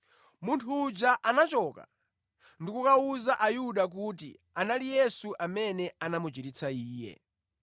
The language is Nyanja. Munthu uja anachoka ndi kukawawuza Ayuda kuti anali Yesu amene anamuchiritsa iye.